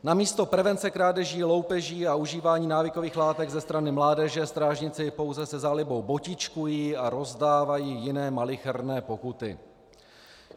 Namísto prevence krádeží, loupeží a užívání návykových látek ze strany mládeže strážníci pouze se zálibou botičkují a rozdávají jiné malicherné pokuty.